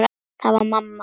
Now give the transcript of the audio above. Það var mamma.